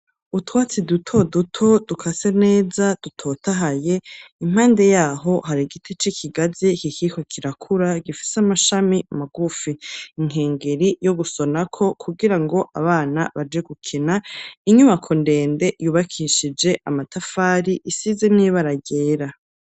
Utwatsi duto duto dukase neza dutotahaye impande yaho hari igiti c'ikigazi kikiriko kirakura gifise amashami magufi, inkengeri yo gusona ko kugira ngo abana baje gukina inyubako ndende yubakishije amatafari isize n'ibara ryera.